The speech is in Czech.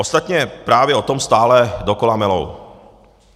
Ostatně právě o tom stále dokola melou.